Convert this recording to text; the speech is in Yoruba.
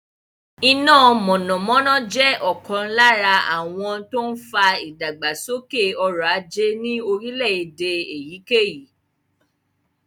Iná mọ̀nàmọ́ná jẹ́ ọ̀kan lára àwọn tó ń fa ìdàgbàsókè ọrọ̀ ajé ní orílẹ̀-èdè èyíkéyìí.